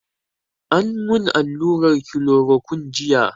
An mun allurar kilorokun jiya